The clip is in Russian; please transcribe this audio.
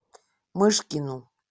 мышкину